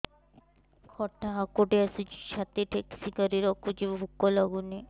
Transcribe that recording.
ଖଟା ହାକୁଟି ଆସୁଛି ଛାତି ଠେସିକରି ରଖୁଛି ଭୁକ ଲାଗୁନି